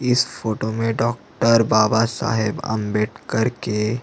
इस फोटो में डॉक्टर बाबा साहब आंबेडकर के --